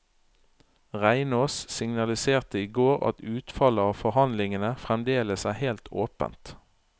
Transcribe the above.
Reinås signaliserte i går at utfallet av forhandlingene fremdeles er helt åpent.